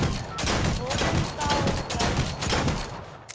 baden powellrylaan